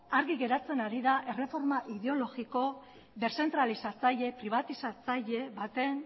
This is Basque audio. argi geratzen ari da erreforma ideologiko deszentralizatzaile pribatizatzaile baten